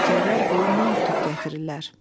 Nökərlər qolundan tutub gətirirlər.